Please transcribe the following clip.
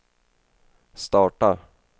starta